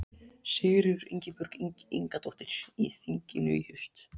Sigríður Ingibjörg Ingadóttir: Í þinginu í haust?